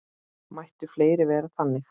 Mættu fleiri vera þannig.